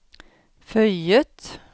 føyet